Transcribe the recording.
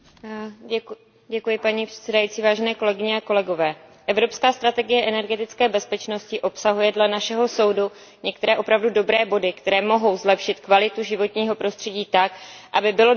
Evropská strategie energetické bezpečnosti obsahuje dle našeho soudu některé opravdu dobré body, které mohou zlepšit kvalitu životního prostředí tak, aby bylo dosaženo rovnováhy mezi ekologickými a socio ekonomickými faktory.